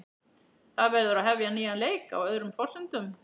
Það verður að hefja nýjan leik, á öðrum forsendum.